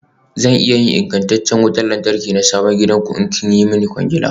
Zan iya yin ingantacciyar wutar lantarki na sabon gidanku, idan kun yi min kwangila.